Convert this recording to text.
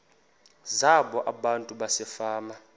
zabo abantu basefama